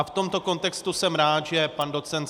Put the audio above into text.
A v tomto kontextu jsem rád, že pan doc.